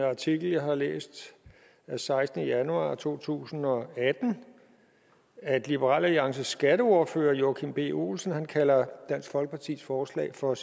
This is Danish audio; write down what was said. artikel jeg har læst af sekstende januar to tusind og atten at liberal alliances skatteordfører joachim b olsen kalder dansk folkepartis forslag for